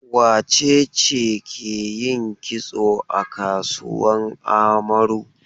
Wace ce ke yin kitso a kasuwan Amaru?